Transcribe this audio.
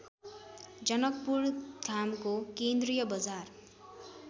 जनकपुरधामको केन्द्रीय बजार